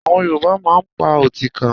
Àwọn Yorùbá máa ń pa Ọtíkà